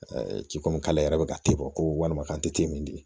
ci komi k'ale yɛrɛ bɛ ka te ko walima k'an tɛ te min